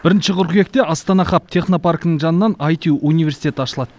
бірінші қыркүйекте астана хаб технопаркінің жанынан аити университет ашылады